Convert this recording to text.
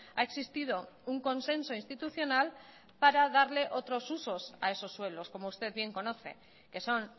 ha existido un consenso institucional para darle otros usos a esos suelos como usted bien conoce que son